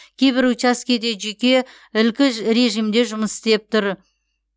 кейбір учаскеде жүйке ілкі режимде жұмыс істеп тұр